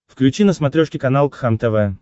включи на смотрешке канал кхлм тв